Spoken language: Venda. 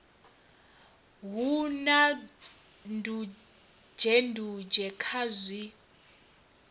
hu na ndunzhendunzhe kha zwi